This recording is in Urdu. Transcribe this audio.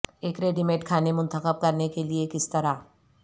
ایک ریڈی میڈ کھانے منتخب کرنے کے لئے کس طرح